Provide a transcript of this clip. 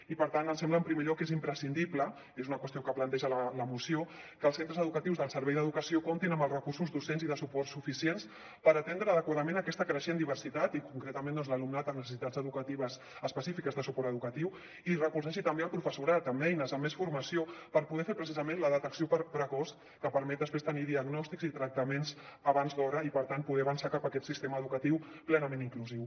i per tant ens sembla en primer lloc que és imprescindible és una qüestió que planteja la moció que els centres educatius del servei d’educació comptin amb els recursos docents i de suport suficients per atendre adequadament aquesta creixent diversitat i concretament doncs l’alumnat amb necessitats educatives específiques de suport educatiu i recolzar així també el professorat amb eines amb més formació per poder fer precisament la detecció precoç que permet després tenir diagnòstics i tractaments abans d’hora i per tant poder avançar cap a aquest sistema educatiu plenament inclusiu